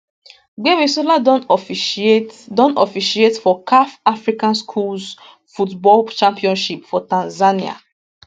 gbemisola don officiate don officiate for caf african schools football championship for tanzania